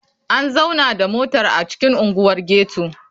An zauna da motar a cikin unguwar ghetto?